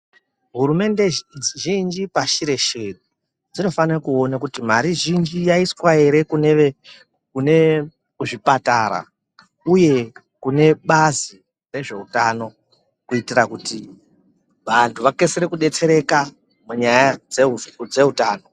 Hurumende zhinji pashi reshe dzinofanire kuone kuti marii zhinji yaiswa ere kune ,muzvipatara uye kune bazi rezveutano kuitira kuti vanhu vakasire kudetsereka munyaya dzezveutano.